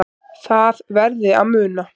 Það verði að muna